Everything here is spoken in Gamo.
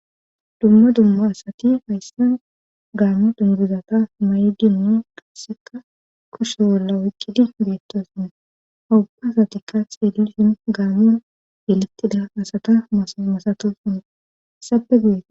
Dumma dumma asati hayssan gaami dungizata may7dinnu qasseka kushe wolla woqqidi beettosone hawubba asatikka xeellisin gaamiyon yelettida asata masatosin sabegie.